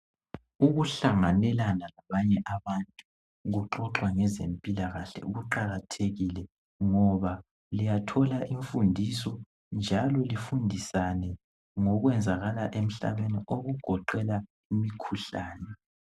Ukuhlanganelana labanye abantu kuqakathekile kuxoxwa ngezempilakahle kuqakathekile ngoba liyathola imfundiso njalo lifundisane ngokwenzakala emhlabeni okugoqela imkhuhlane